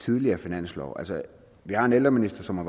tidligere finanslove altså vi har en ældreminister som har